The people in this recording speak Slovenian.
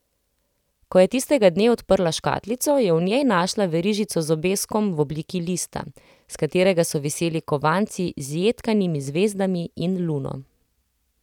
Ko je tistega dne odprla škatlico, je v njej našla verižico z obeskom v obliki lista, s katerega so viseli kovanci z jedkanimi zvezdami in luno.